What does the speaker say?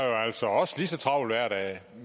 lige så travlt hver dag